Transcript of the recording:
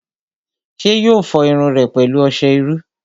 ṣé yóò fọ irun rẹ̀ pẹ̀lú ọsẹ iru?